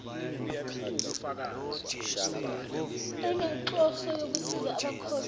inenhloso yokusiza abakhokhi